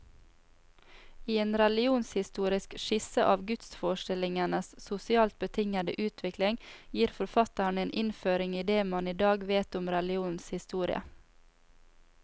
I en religionshistorisk skisse av gudsforestillingenes sosialt betingede utvikling, gir forfatteren en innføring i det man i dag vet om religionens historie.